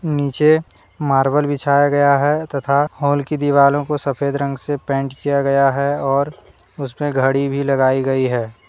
नीचे मार्बल बिछाया गया है तथा हॉल की दीवालो को सफेद रंग से पेंट किया गया है और उसमें घड़ी भी लगाई गई है।